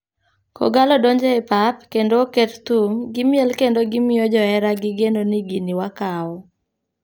Kogalo donjo e pap kendo oket thum ,gimiel kendo gimyo johera gi geno ni gini wakawo.